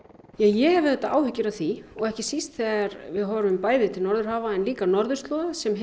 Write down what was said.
ég hef auðvitað áhyggjur af því ekki síst þegar við horfum bæði til Norðurhafa og líka norðurslóða sem